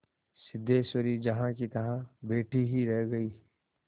सिद्धेश्वरी जहाँकीतहाँ बैठी ही रह गई